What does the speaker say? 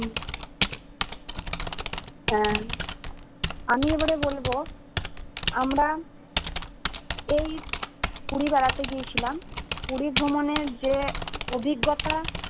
উম আমি এবারে বলবো আমরা এই পুরি বেড়াতে গিয়েছিলাম পুরি ভ্রমণের যে অভিজ্ঞতা